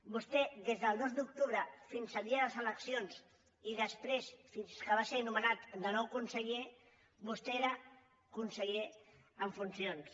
vostè des del dos d’octubre fins al dia de les eleccions i després fins que va ser nomenat de nou conseller era conseller en funcions